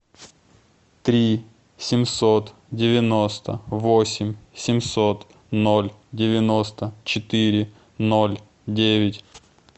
три семьсот девяносто восемь семьсот ноль девяносто четыре ноль девять